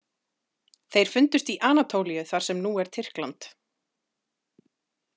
Þeir fundust í Anatólíu þar sem nú er Tyrkland.